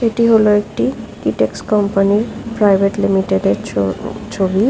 এটি হলো একটি কিটসক্স কোম্পনি -ইর প্রাইভেট লিমিটেড এর ছ ছবি।